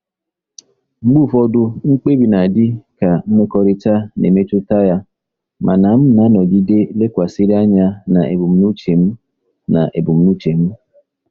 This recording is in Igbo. Mgbe ụfọdụ, mkpebi na-adị ka mmekọrịta na-emetụta ya, mana m na-anọgide lekwasịrị anya na ebumnuche m. na ebumnuche m.